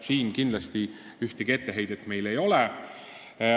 Siin meil kindlasti ühtegi etteheidet ei ole.